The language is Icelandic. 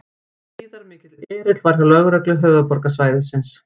Gríðarmikill erill var hjá lögreglu höfuðborgarsvæðisins